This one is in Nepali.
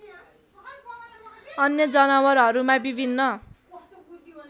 अन्य जनावरहरूमा विभिन्न